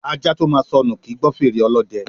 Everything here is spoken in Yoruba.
Ajá tó máa sọnù, kì í gbọ́ fèrè ọlọ́dẹ.